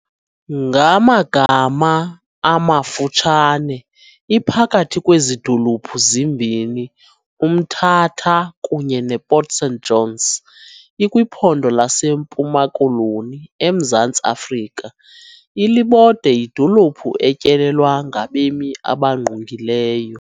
Ngagama amafutshane iphakathi kwezi dolophu zimbini uMthatha kunye nePort St Johns ikwiPhondo laseMpuma-Koloni eMzantsi Afrika, Ilibode yidolophi etyelelwa ngabemi abangqungileyo.